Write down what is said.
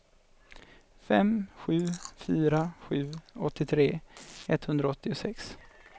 fem sju fyra sju åttiotre etthundraåttiosex